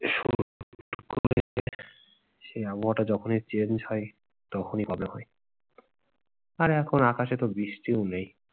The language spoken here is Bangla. সেই আবহাওয়াটা যখনই change হয়, তখনই হয়। আর এখন আকাশে তো বৃষ্টিও নেই।